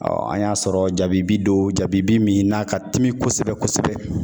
an y'a sɔrɔ jabibi don, jabibi min n'a ka telin kosɛbɛ kosɛbɛ.